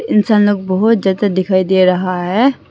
इंसान लोग बहुत ज्यादा दिखाई दे रहा है।